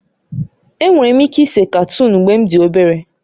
Enwere m ike ise katoon mgbe m dị obere